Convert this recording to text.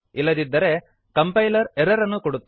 ಇಲ್ಲದಿದ್ದರೆ compiler error ಅನ್ನು ಕೊಡುತ್ತದೆ